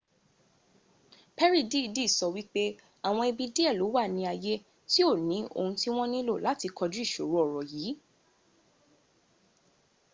perry dìídì sọ wípé àwọn ibi díẹ̀ ló wà ni ayé tí ó ni ohun tí wọn nílò láti kọjú ìṣòro ọ̀rọ̀ yì